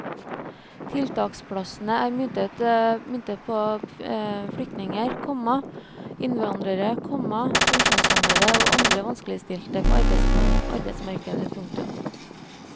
Tiltaksplassene er myntet på flyktninger, komma innvandrere, komma funksjonshemmede og andre vanskeligstilte på arbeidsmarkedet. punktum